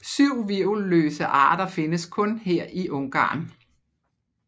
Syv hvirvelløse arter findes kun her i Ungarn